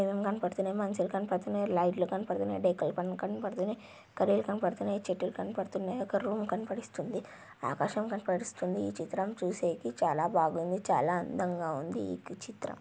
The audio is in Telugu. కనపడుతున్నాయ్ మనుషులు కనపడుతున్నాయ్ లైట్లు కనపడుతున్నాయ్ డెక్కుల్ కనపడుతున్నాయ్ కర్రలు కనపడుతున్నాయి చెట్టుల్ కనపడుతున్నాయ్ ఒక రూమ్ కనపరిస్తుంది. ఆకాశం కనపరిస్తుంది. ఈ చిత్రం చూసేదీ చాలా బాగుంది. చాలా అందంగా ఉంది ఈ చిత్రం.